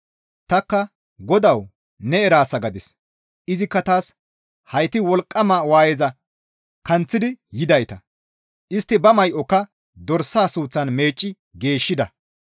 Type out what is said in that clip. Tanikka, «Godawu! Ne eraasa» gadis. Izikka taas, «Hayti wolqqama waayeza kanththidi yidayta; istti ba may7oka dorsaa suuththan meecci geeshshida.